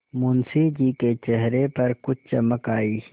मुंशी जी के चेहरे पर कुछ चमक आई